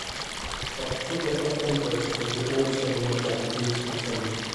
chak tugo f.m. proochiko gi auchiel nukta abich f.m